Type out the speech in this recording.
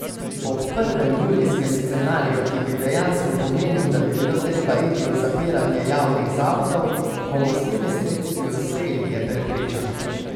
Ob prvem, julijskem scenariju, ki bi dejansko pomenil, da bi bilo treba iti v zapiranje javnih zavodov, bomo s temi sredstvi uspeli, je prepričana.